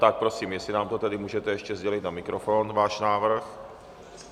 Tak prosím, jestli nám to tedy můžete ještě sdělit na mikrofon, svůj návrh.